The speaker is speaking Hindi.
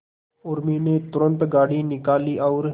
उर्मी ने तुरंत गाड़ी निकाली और